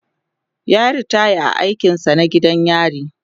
yayi ritaya a aikin sa na gidan yari